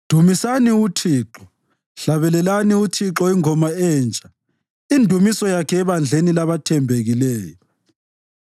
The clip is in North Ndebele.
Dumisani uThixo. Hlabelelani uThixo ingoma entsha, indumiso yakhe ebandleni labathembekileyo.